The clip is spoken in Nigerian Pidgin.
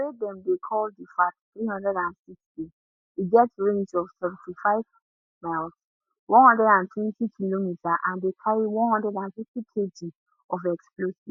wey dem dey call di fath360 e get range of 75 miles 120km and dey carry 150kg of explosives